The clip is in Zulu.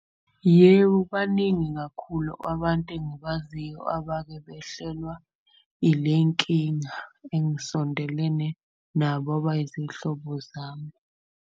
Yebo, baningi ngakhulu abantu engibaziyo abake behlelwa ile nkinga engisondelene nabo abayizihlobo zami.